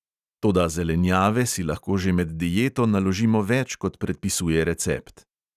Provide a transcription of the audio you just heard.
Toda zelenjave si lahko že med dieto naložimo več, kot predpisuje recept.